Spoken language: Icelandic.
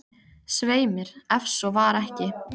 Svei mér, ef svo var ekki.